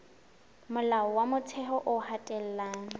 molao wa motheo o hatella